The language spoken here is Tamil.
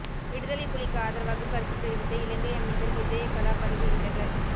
விடுதலை புலிக்கு ஆதரவாக கருத்து தெரிவித்த இலங்கை அமைச்சர் விஜயகலா பதவி விலகல்